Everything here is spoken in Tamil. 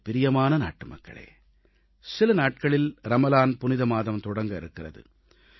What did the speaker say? எனக்குப் பிரியமான நாட்டுமக்களே சில நாட்களில் ரமலான் புனித மாதம் தொடங்க இருக்கிறது